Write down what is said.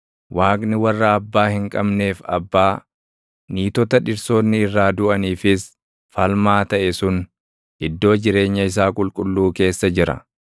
Waaqni warra abbaa hin qabneef abbaa, niitota dhirsoonni irraa duʼaniifis falmaa taʼe sun iddoo jireenya isaa qulqulluu keessa jira.